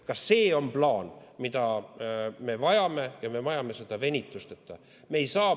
Ka see on plaan, mida me vajame ja me vajame seda venitusteta.